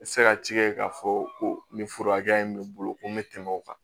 Se ka ci kɛ k'a fɔ ko nin fura hakɛya in bɛ n bolo ko n bɛ tɛmɛ o kan